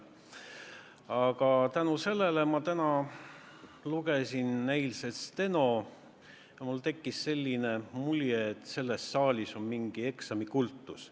Aga tänu sellele lugesin ma täna eilset stenogrammi ja mul tekkis mulje, et selles saalis on mingi eksamikultus.